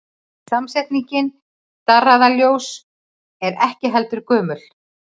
Samsetningin darraðarljóð er ekki heldur gömul.